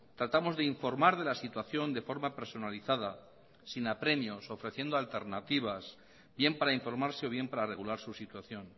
tratamos de informar de la situación de forma personalizada sin apremios ofreciendo alternativas bien para informarse o bien para regular su situación